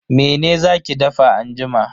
Mene za ki dafa anjima?